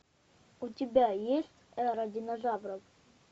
у тебя есть эра динозавров